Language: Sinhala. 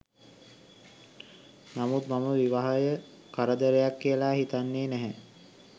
නමුත් මම විවාහය කරදරයක් කියලා හිතන්නේ නැහැ.